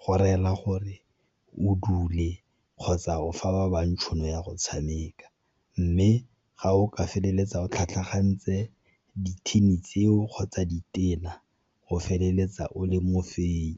go reela gore o dule kgotsa o fa ba bangwe tšhono ya go tshameka. Mme ga o ka feleletsa o tlhatlhagantse di-thini tseo kgotsa ditena o feleletsa o le mo fenyi.